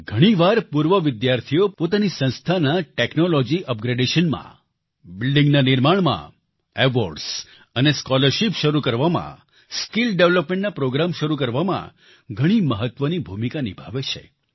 ઘણીવાર પૂર્વ વિદ્યાર્થીઓ પોતાની સંસ્થાના ટેક્નોલોજી અપગ્રેડેશનમાં બિલ્ડીંગના નિર્માણમાં એવોર્ડ્સ અને સ્કોલરશિપ શરૂ કરવામાં સ્કિલ ડેવેલપમેન્ટના પ્રોગ્રામ શરૂ કરવામાં ઘણી મહત્વની ભૂમિકા નિભાવે છે